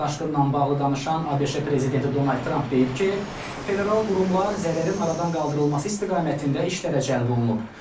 Daşqınla bağlı danışan ABŞ prezidenti Donald Tramp deyib ki, federal qurumlar zərərin aradan qaldırılması istiqamətində işlərə cəlb olunub.